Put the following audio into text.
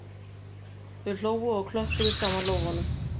Þau hlógu og klöppuðu saman lófunum